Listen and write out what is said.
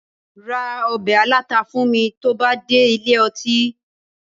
Ra ọbẹ̀ aláta fún mi tó bá dé ilé ọtí